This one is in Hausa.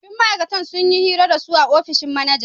Sabbin ma'aikatan sun yi hira da su a ofishin manajan